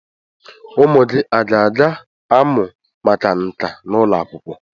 Ụmụ gị a ga-amụ maka nka n'ụlọ akwụkwọ?